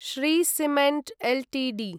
Shri cement Ltd